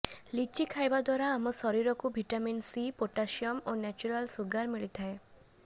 ଲିଚି ଖାଇବା ଦ୍ୱାରା ଆମ ଶରୀରକୁ ଭିଟାମିନ୍ ସି ପଟାସିୟମ୍ ଓ ନେଚୁରାଲ୍ ସୁଗାର ମିଳିଥାଏ